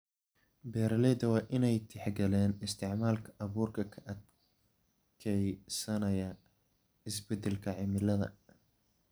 Beeraleyda waa in ay tixgeliyaan isticmaalka abuurka ka adkeysanaya isbedelka cimilada.